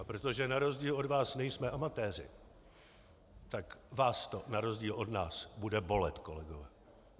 A protože na rozdíl od vás nejsme amatéři, tak vás to na rozdíl od nás bude bolet, kolegové.